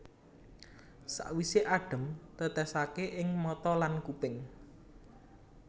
Sawisé adhem tètèsaké ing mata lan kuping